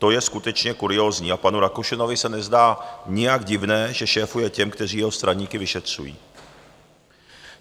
To je skutečně kuriózní a panu Rakušanovi se nezdá nijak divné, že šéfuje těm, kteří jeho straníky vyšetřují.